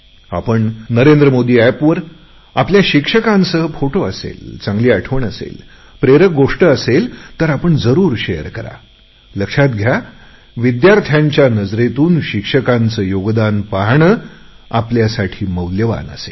आपण नरेंद्र मोदी एपवर आपल्या शिक्षकांसह फोटो असेल चांगली आठवण असेल प्रेरक गोष्ट असेल तर आपण जरुर शेअर करालक्षात घ्या विद्यार्थ्यांच्या नजरेतून शिक्षकांचे योगदान पाहणे आपल्यासाठी मौल्यवान असेल